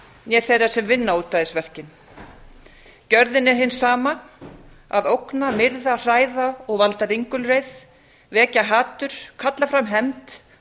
né þeirra sem vinna ódæðisverkin gjörðin er hin sama að ógna myrða hræða og valda ringulreið vekja hatur kalla fram hefnd